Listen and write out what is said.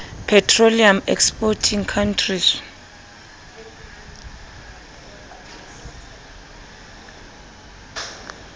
petroleum exporting countries